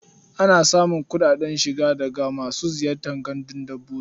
Ana samun kuɗin shiga daga masu ziyartar gandun dabbobi.